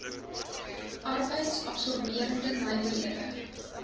arbeids absorberende nywerhede